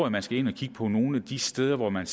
at man skal ind at kigge på nogle af de steder hvor man